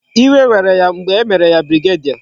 Iwe were ya mgbe e mere ya brigadier